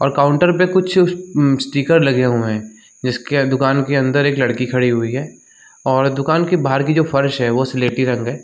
और काउंटर पे कुछ अअम स्टीकर लगे हुए हैं जिसके दुकान के अंदर एक लड़की खड़ी हुई है और दुकान के बाहर की जो फर्श है वो सलेटी रंग है।